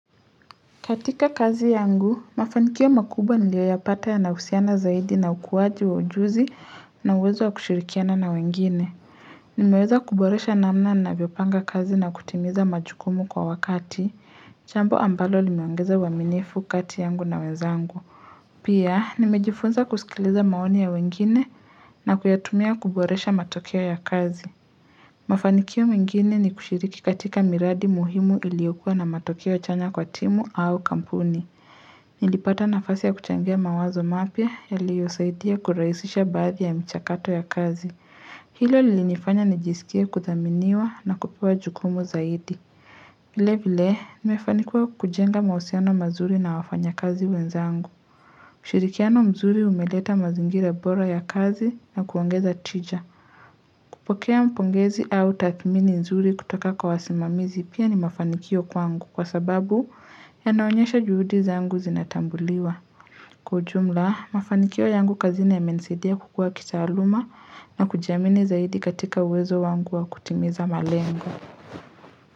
Katika kazi yangu, mafanikio makubwa nilioyayapata yanahusiana zaidi na ukuwaji wa ujuzi na uwezo wa kushirikiana na wengine nimeweza kuboresha namna navyopanga kazi na kutimiza majukumu kwa wakati, chambo ambalo limeongeza uwaminifu kati yangu na wezangu Pia, nimejifunza kusikiliza maoni ya wengine na kuyatumia kuboresha matokeo ya kazi Mafanikio mengine ni kushiriki katika miradi muhimu iliokuwa na matokeo chanya kwa timu au kampuni Nilipata nafasi ya kuchangia mawazo mapya yaliyosaidia kuraisisha baadhi ya mchakato ya kazi Hilo lilinifanya nijisikie kuthaminiwa na kupewa jukumu zaidi vile vile, nimefanikuwa kujenga mahusiano mazuri na wafanya kazi wenzangu ushirikiano mzuri umeleta mazingira bora ya kazi na kuongeza tija kupokea pongezi au tathmini nzuri kutoka kwa wasimamizi pia ni mafanikio kwangu kwa sababu yanaonyesha juhudi zangu zinatambuliwa. Kwa ujumla, mafanikio yangu kazini yamenisaidia kukua kitaaluma na kujamini zaidi katika uwezo wangu wa kutimiza malengo.